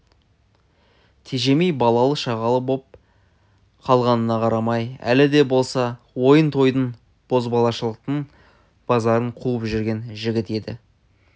тежемей балалы-шағалы боп қалғанына қарамай әлі де болса ойын-тойдың бозбалашылықтың базарын қуып жүрген жігіт еді